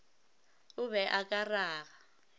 o be o ka raga